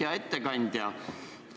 Hea ettekandja!